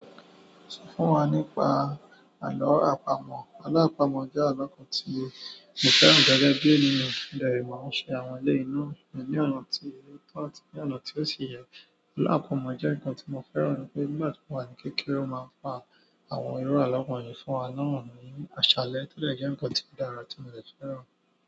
Sọ fún wa nípa àlọ́ àpamọ̀. Alo apamọ̀ jẹ́ àlọ́ kan tí mo fẹ́ràn gẹ́gẹ́ bí ẹniyàn. Mo de màá ń ṣe àwọn eleyii na ní ọ̀nà tí o tọ́ àti ní ọ̀nà tí ó ṣi yẹ. Alo qpamọ̀ jẹ́ ǹkan tí mo fẹ́ràn ní pé nígbàtí mo wà ní kékeré won máa ń pa àwọn ìru àwọn iru alo wọ̀nyíi fún wa ni aṣálẹ́. To de jẹ́ ǹkan tí o dára tí mo dè fẹ́ràn.